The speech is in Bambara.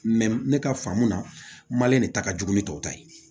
ne ka faamu na mali de ta ka jugu ni tɔw ta ye